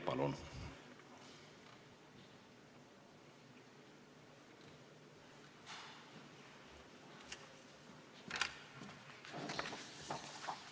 Palun!